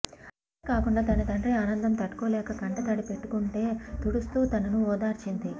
అంతేకాకుండా తన తండ్రి ఆనందం తట్టుకోలేక కంటతడి పెట్టుకుంటే తుడుస్తూ తనను ఓదార్చింది